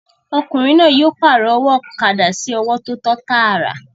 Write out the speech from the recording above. Ọkùnrin náà yóò pàrọ̀ ọwọ́ ọ̀kadà sí ọwọ́ tó tọ́ tàrà